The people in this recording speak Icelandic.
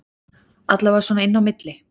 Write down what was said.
Allavega svona inni á milli